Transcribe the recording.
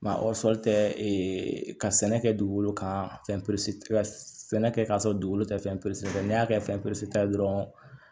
tɛ ka sɛnɛ kɛ dugukolo kan fɛn pere sɛnɛ kɛ k'a sɔrɔ dugukolo tɛ fɛn peresɛri n'i y'a kɛ fɛn peseta dɔrɔn